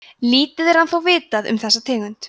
lítið er ennþá vitað um þessa tegund